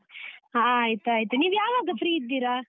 ಹಾ ಆಯ್ತಾಯ್ತು, ನೀವ್ ಯಾವಾಗ free ಇದ್ದೀರಾ?